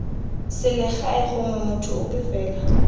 selegae gongwe motho ope fela